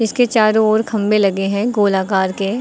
के चारों ओर खंबे लगे हैं गोलाकार के--